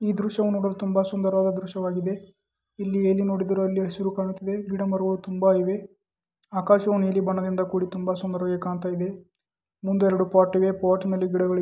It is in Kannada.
ಈ ದೃಶ್ಯವನ್ನು ನೋಡಿ ತುಂಬಾ ಸುಂದರವಾದ ದೃಶ್ಯವಾಗಿದೆ. ಇಲ್ಲಿ ನೀವು ನೋಡಿದಿರಾ ಇಲ್ಲಿ ಹಸಿರು ಕಾಣ್ತಿದೆ ಗಿಡಮರಗಳು ತುಂಬಾ ಇವೆ. ಆಕಾಶವು ನೀಲಿ ಬಣ್ಣದಿಂದ ಕೂಡಿ ತುಂಬಾ ಸುಂದರವಾಗಿ ಕಾಣ್ತಾಯಿದೆ. ಮುಂದೆ ಎರಡು ಪಾಟ್ ಇವೆ ಪಾಟ್ ನಲ್ಲಿ ಗಿಡಗ--